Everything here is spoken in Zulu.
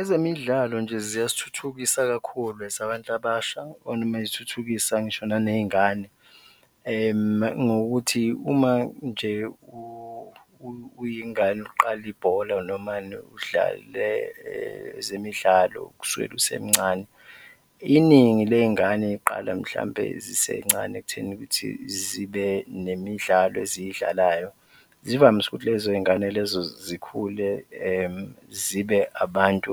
Ezemidlalo nje ziyasithuthukisa kakhulu as abantu abasha or noma zithuthukisa ngisho naney'ngane ngokuthi uma nje uyingane uqala ibhola noma udlala ezemidlalo kusukela usemncane. Iningi ley'ngane ziqala mhlawumbe zisencane ekutheni ukuthi zibe nemidlalo eziyidlalayo, zivamise ukuthi lezo zingane lezo zikhule zibe abantu